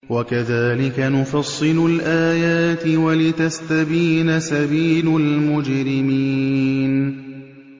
وَكَذَٰلِكَ نُفَصِّلُ الْآيَاتِ وَلِتَسْتَبِينَ سَبِيلُ الْمُجْرِمِينَ